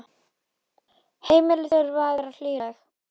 Heimili þurfa að vera hlýleg.